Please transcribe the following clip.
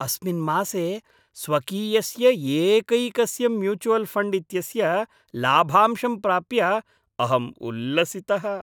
अस्मिन् मासे स्वकीयस्य एकैकस्य म्यूचुवल् फण्ड् इत्यस्य लाभांशं प्राप्य अहम् उल्लसितः।